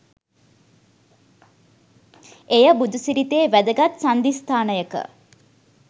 එය බුදු සිරිතේ වැදගත් සන්ධිස්ථානයක